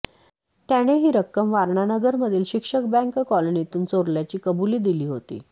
त्याने ही रक्कम वारणानगर मधील शिक्षक बँक कॉलनीतून चोरल्याची कबुली दिली होती